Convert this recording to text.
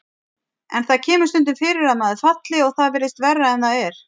En það kemur stundum fyrir að maður falli og það virðist verra en það er.